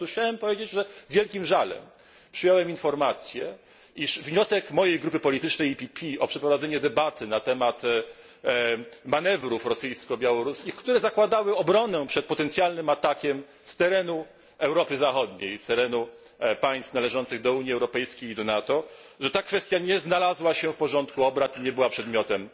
Chciałem powiedzieć, że z wielkim żalem przyjąłem informację, iż wniosek mojej grupy politycznej PPE o przeprowadzenie debaty na temat manewrów rosyjsko białoruskich, które zakładały obronę przed potencjalnym atakiem z terenu Europy Zachodniej, z terenu państw należących do Unii Europejskiej i do NATO, nie znalazł się w porządku obrad i nie był przedmiotem